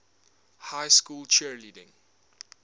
high school cheerleading